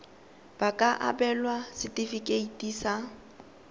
ba ka abelwa setefikeiti sa